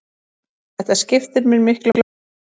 Þetta skiptir mér miklu máli.